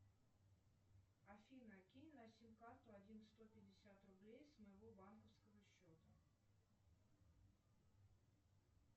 афина кинь на сим карту один сто пятьдесят рублей с моего банковского счета